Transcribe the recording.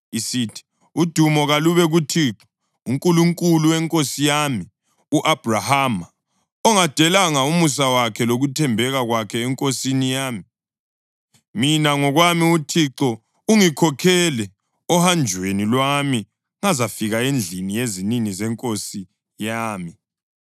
isithi, “Udumo kalube kuThixo, uNkulunkulu wenkosi yami u-Abhrahama, ongadelanga umusa wakhe lokuthembeka kwakhe enkosini yami. Mina ngokwami uThixo ungikhokhele ohanjweni lwami ngazafika endlini yezinini zenkosi yami.”